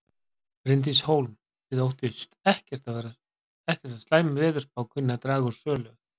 Bryndís Hólm: Þið óttist ekkert að slæm veðurspá kunni að draga úr sölu?